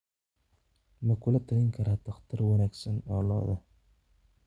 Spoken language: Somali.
ma kula talin kartaa dhaqtar wanaagsan oo lo'da